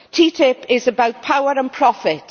TTIP is about power and profit